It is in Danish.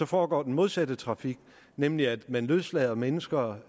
foregår den modsatte trafik nemlig at man løslader mennesker